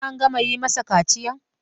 Har an gama yi masa kaciyan?